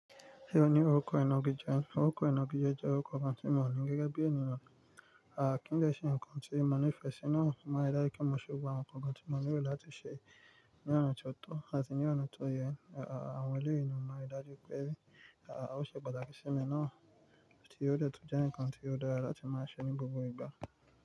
Ṣé o ní orúkọ inági jẹ? Orúkọ inági jẹ́ jẹ́ orúkọ ohun tí mo mọ̀ ní gẹ́gẹ́ bí ẹnyan. À kí n lẹ́ ṣe nǹkan tí mo nífẹ̀ẹ́ sínú ọ̀na máa dárí kí mo ṣe wà ọ̀kàn tí mo nílò láti ṣe ní ọ̀nà tó tọ̀ àti ní ọ̀nà tó yẹ. Àwọn ẹlẹ́yìn ni máa ri dájú pé bí à ó ṣe patakí í ṣi mi náà tí ó detun jẹ́ nǹkan tí ó dára láti máa ṣe ní gbogbo ìgbà.